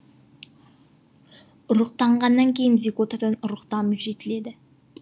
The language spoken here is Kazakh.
ұрықтанғаннан кейін зиготадан ұрық дамып жетіледі